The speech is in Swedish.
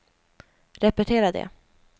repetera det